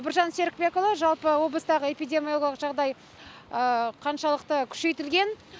біржан серікбекұлы жалпы облыстағы эпидемиологиялық жағдай қаншалықты күшейтілген